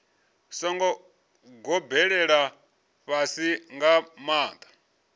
songo gobelela fhasifhasi nga maanḓa